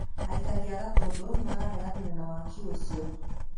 Aikari a Gatundu nimarareganire na waaki ũcio